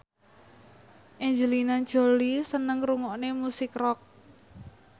Angelina Jolie seneng ngrungokne musik rock